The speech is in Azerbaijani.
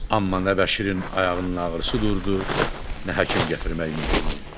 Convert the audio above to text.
Amma nə Bəşirin ayağının ağrısı durdu, nə həkim gətirmək mümkün oldu.